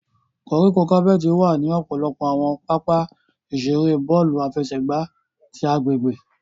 Koríko capeti wa ni ọpọlọpọ awọn papa-iṣere bọọlu afẹsẹgba ti agbegbe.